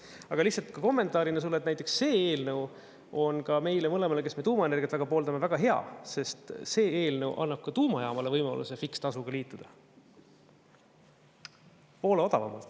Aga lihtsalt ka kommentaarina sulle, see eelnõu on ka meile mõlemale, kes me tuumaenergiat väga pooldame, väga hea, sest see eelnõu annab ka tuumajaamale võimaluse fikseeritud tasuga liituda, poole odavamalt.